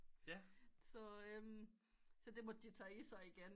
Så det måtte de tage i sig igen